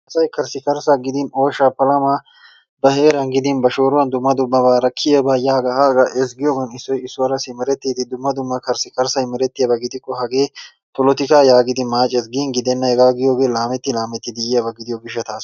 Asay karssikarssa gidin ooshshaa palama ba heeran gidin ba shoooruwan dumma dummabaara kiyyiyaaga yaaga haaga ezggiyoogan issoy issuwaara simerettide dumma dumma karssakarssay meretiyaaba gidikko hagee polotikka yaagidi maacces. Gin gidenna hegaa giyogee laammetti laammettidi yiyyaba gidiyo gishshattassa.